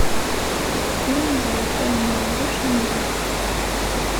фильм золотая молодежь найди